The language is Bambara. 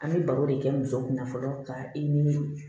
An bɛ baro de kɛ muso kunna fɔlɔ ka i ni